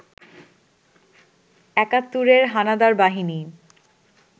একাত্তরের হানাদার বাহিনী